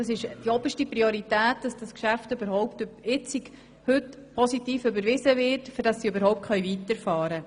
Die grösste Priorität hat heute das positive Überweisen dieses Geschäft, damit überhaupt fortgefahren werden kann.